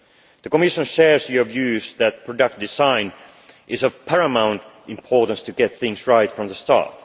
The Commission shares your view that product design is of paramount importance in getting things right from the start.